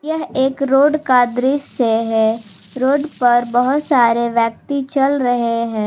यह एक रोड का दृश्य है रोड पर बहुत सारे व्यक्ति चल रहे हैं।